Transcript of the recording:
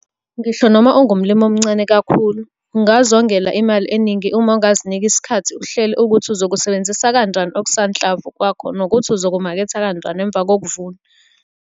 Ngisho noma ungumlimi omncane kakhulu, ungazongela imali eningi uma ungazinika isikhathi uhlele ukuthi uzokusebenzisa kanjani okusanhlamvu kwakho nokuthi uzokumaketha kanjani emva kokuvuna.